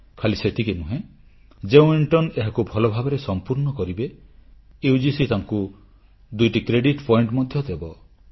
ଖାଲି ସେତିକି ନୁହେଁ ଯେଉଁ ଇଣ୍ଟର୍ଣ୍ଣ ଏହାକୁ ଭଲଭାବରେ ସମ୍ପୂର୍ଣ୍ଣ କରିବେ ୟୁଜିସି ତାଙ୍କୁ ଦୁଇଟି କ୍ରେଡିଟ୍ ପଏଣ୍ଟ ମଧ୍ୟ ଦେବ